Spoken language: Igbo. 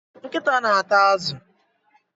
Nkịta na ata azụ.